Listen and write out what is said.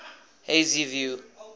hazyview